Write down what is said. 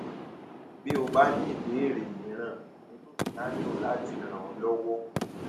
bí o bá ní ìbéèrè mìíràn inú mi á dùn láti ràn ọ lọwọ